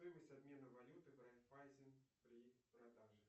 стоимость обмена валюты в райффайзен при продаже